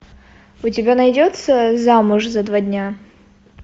у тебя найдется замуж за два дня